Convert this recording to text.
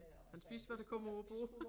Han spiser hvad der kommer på æ bord